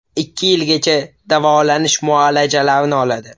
Ikki yilgacha davolanish muolajalarini oladi.